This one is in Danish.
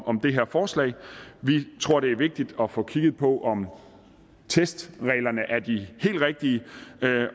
om det her forslag vi tror det er vigtigt at få kigget på om testreglerne er de helt rigtige